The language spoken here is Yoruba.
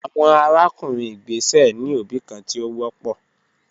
Awọn arakunrin igbesẹ ni obi kan ti o wọpọ